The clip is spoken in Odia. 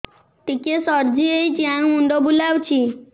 ଟିକିଏ ସର୍ଦ୍ଦି ହେଇଚି ଆଉ ମୁଣ୍ଡ ବୁଲାଉଛି